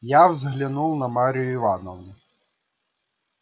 я взглянул на марью ивановну